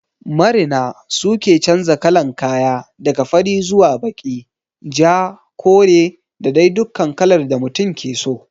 Marina su ke chanja kalan kaya, daga fari zuwa baki, ja, kore da dai dukkan kalar da mutum ke so.